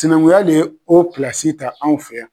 Sinankunya de ye o pilasi ta anw fɛ yan.